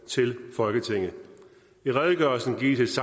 folketinget